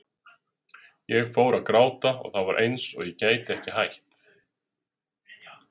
Ég fór að gráta og það var eins og ég gæti ekki hætt.